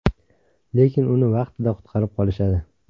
Lekin uni vaqtida qutqarib qolishadi.